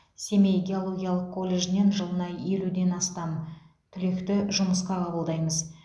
семей геологиялық колледжінен жылына елуден астам түлекті жұмысқа қабылдаймыз